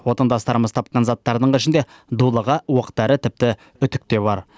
отандастарымыз тапқан заттардың ішінде дулыға оқ дәрі тіпті үтік те бар